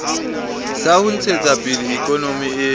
sa ho ntshetsapele ikonomi e